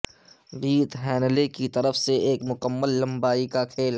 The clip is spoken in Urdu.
بیت ہینلے کی طرف سے ایک مکمل لمبائی کا کھیل